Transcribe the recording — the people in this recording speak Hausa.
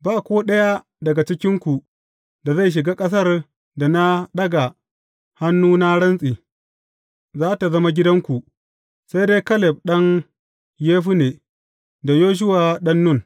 Ba ko ɗaya daga cikinku da zai shiga ƙasar da na ɗaga hannu na rantse, za tă zama gidanku, sai dai Kaleb ɗan Yefunne da Yoshuwa ɗan Nun.